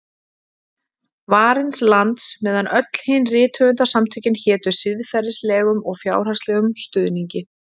Varins lands, meðan öll hin rithöfundasamtökin hétu siðferðislegum og fjárhagslegum stuðningi.